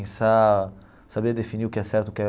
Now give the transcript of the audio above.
saber definir o que é certo o que é.